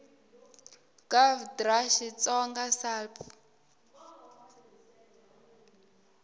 gov dra xitsonga sal p